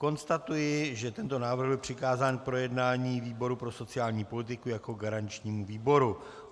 Konstatuji, že tento návrh byl přikázán k projednání výboru pro sociální politiku jako garančnímu výboru.